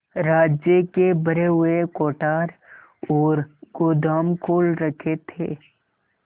राज्य के भरे हुए कोठार और गोदाम खोल रखे थे